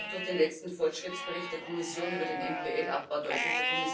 Das wird auch durch den letzten Fortschrittsbericht der Kommission über den NPL Abbau deutlich.